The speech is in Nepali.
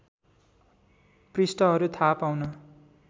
पृष्ठहरू थाहा पाउन